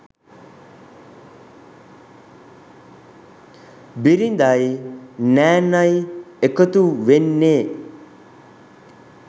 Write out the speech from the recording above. බිරිඳයි නෑනයි එකතු වෙන්නේ.